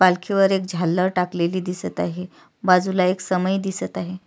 पालखी वर एक झालर टाकलेली दिसत आहे बाजूला एक समई दिसत आहे.